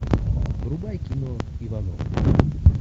врубай кино ивановы